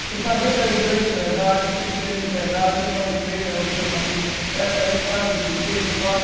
Você sabia que era um grande empresário, ou pequeno empresário, tinha uma empresa, tinha família, eram uns caras de, bem situados.